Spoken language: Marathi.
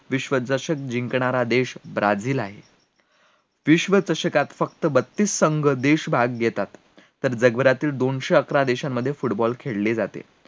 विश्वचषक जिंकणारा देश ब्राझील आहे, विश्वचषकात फक्त बत्तीस संघ देश भाग घेतात तर जगभरातील दोनशे अकरा देशात football खेळले जातात